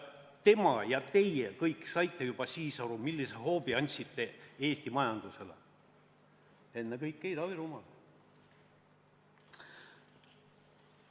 Tema ja teie kõik saite juba siis aru, millise hoobi olite andnud Eesti majandusele, ennekõike Ida-Virumaale.